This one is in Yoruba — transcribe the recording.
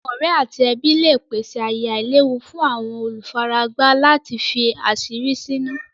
Àwọn ọ̀rẹ̀ àti ẹbí lẹ pèsè ayè àìlèwú fún àwọn olúfáràgbá láti fí àṣírí sínú.